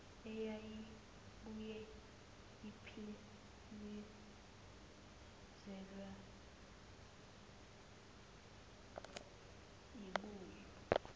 eyayibuye iphelezelwe yibhuzu